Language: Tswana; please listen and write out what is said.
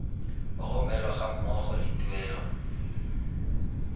romelwa ga mmogo le tuelo